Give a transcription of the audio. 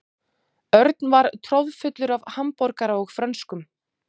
Örn var troðfullur af hamborgara og frönskum.